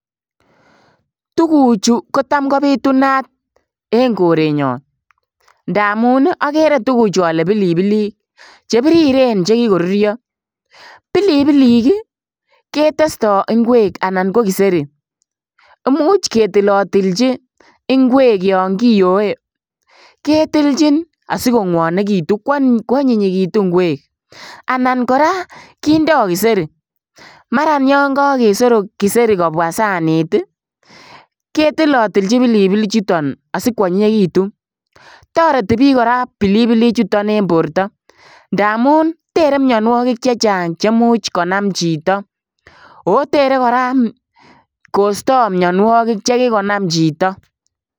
Tuguchu kotam kobitunat en korenyon ndamun okere tuguchu oke pilipilik chebiriren chekikorurio, pilipilik ii ketesto inkwek anan ko kiseri imuch ketilotilchi inkwek yon kiyoe ketilchin asikokwonekitun kwonyinyekitu inkwek anan koraa kindoo kiseri maran yin kokesorok kiseri kobwaa sanit ii ketilotilchin pilipilichuton asikwonyinyekit, toreti bik koraa pilipilichuton en borto ndamun tere mionuokik chechang chemuch konam chito oo tere koraa kosto mionuokik chekikonam chito .